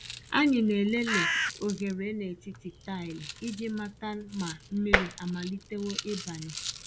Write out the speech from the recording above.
Ànyị na-elele oghere n’etiti taịlị iji mata ma mmiri amalitewo ịbanye.